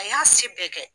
A y'a si bɛɛ kɛ